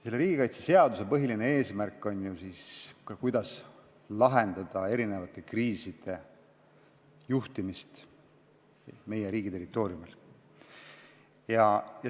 Selle seaduse põhiline eesmärk on ju see, kuidas lahendada erisuguste kriiside juhtimine meie riigi territooriumil.